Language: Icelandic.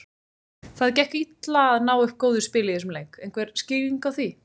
Það gekk illa að ná upp góðu spili í þessum leik, einhver skýring á því?